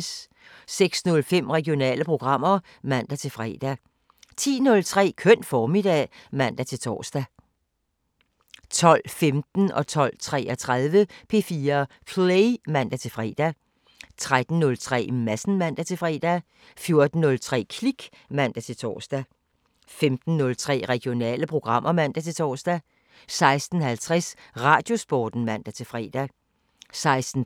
06:05: Regionale programmer (man-fre) 10:03: Køn formiddag (man-tor) 12:15: P4 Play (man-fre) 12:33: P4 Play (man-fre) 13:03: Madsen (man-fre) 14:03: Klik (man-tor) 15:03: Regionale programmer (man-tor) 16:50: Radiosporten (man-fre) 16:53: